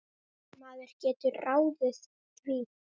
Maður getur ráðið því.